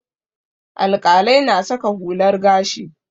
Alƙalai na saka hular gashi.